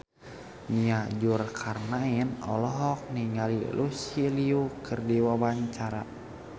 Nia Zulkarnaen olohok ningali Lucy Liu keur diwawancara